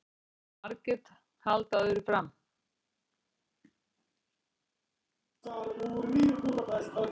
Margir halda öðru fram